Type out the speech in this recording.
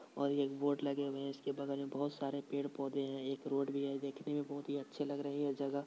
और एक बोर्ड लगे हुए हैं और इसके बगल में बहुत सारे पेड़ पोधे हैं एक रोड भी हैं देखने में बहुत ही अच्छे लगते है जगह --